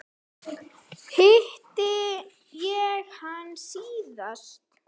Þar hitti ég hann síðast.